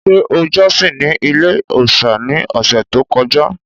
Ṣé o jọ́sìn ní ilé-òòsà ní ọ̀sẹ̀ tó kọjá?